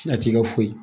A t'i ka foyi